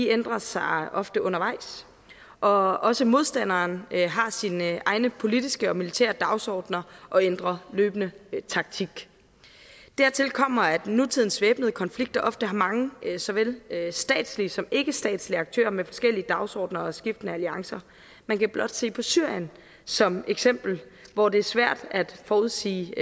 ændrer sig ofte undervejs og også modstanderen har sine egne politiske og militære dagsordener og ændrer løbende taktik dertil kommer at nutidens væbnede konflikter ofte har mange såvel statslige som ikkestatslige aktører med forskellige dagsordener og skiftende alliancer man kan blot se på syrien som eksempel hvor det er svært at forudsige